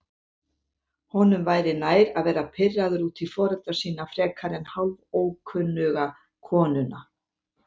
Honum væri nær að vera pirraður út í foreldra sína frekar en hálfókunnuga konuna.